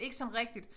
Ikke sådan rigtigt